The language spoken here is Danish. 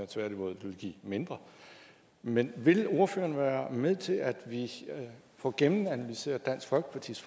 tværtimod det vil give mindre men vil ordføreren være med til at vi får gennemanalyseret dansk folkepartis